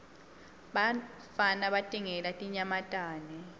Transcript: bafana batingela tinyamatane